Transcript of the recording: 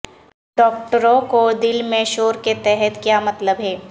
ڈاکٹروں کو دل میں شور کے تحت کیا مطلب ہے